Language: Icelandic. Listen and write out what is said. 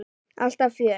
Alltaf fjör.